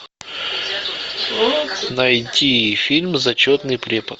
найти фильм зачетный препод